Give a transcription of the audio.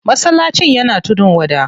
Masallacin yana tudun wada.